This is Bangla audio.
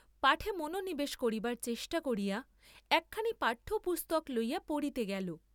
পাঠে মনোনিবেশ করিবার চেষ্টা করিয়া একখানি পাঠ্য পুস্তক লইয়া পড়িতে গেল।